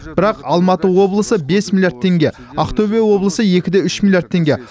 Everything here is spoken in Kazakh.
бірақ алматы облысы бес миллиард теңге ақтөбе облысы екі де үш миллиард теңге